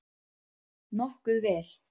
Nokkuð vel.